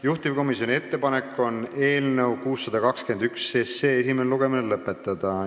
Juhtivkomisjoni ettepanek on eelnõu 621 esimene lugemine lõpetada.